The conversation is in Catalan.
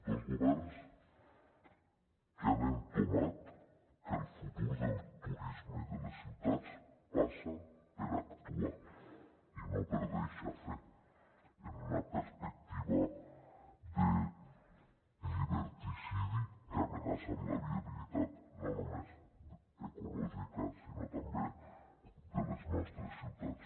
dos governs que han entomat que el futur del turisme i de les ciutats passa per actuar i no per deixar fer en una perspectiva de lliberticidi que amenaça la viabilitat no només ecològica sinó també de les nostres ciutats